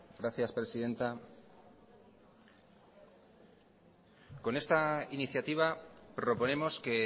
gracias presidenta con esta iniciativa proponemos que